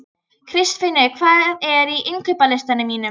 Kristfinnur, hvað er á innkaupalistanum mínum?